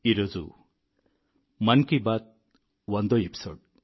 ఈరోజు మన్ కీ బాత్ వందో ఎపిసోడ్